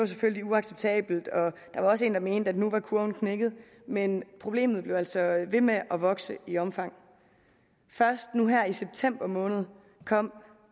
selvfølgelig var uacceptabelt og der var også en der mente at nu var kurven knækket men problemet blev altså ved med at vokse i omfang først nu her i september måned kom